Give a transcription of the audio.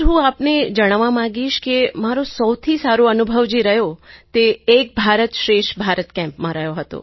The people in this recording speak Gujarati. સર હું આપને જણાવવા માગીશ કે મારો સૌથી સારો અનુભવ જે રહ્યો તે એક ભારત શ્રેષ્ઠ ભારત કેમ્પમાં રહ્યો હતો